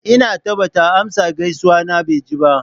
Inna ta ba ta amsa gaisuwa na ba jiya.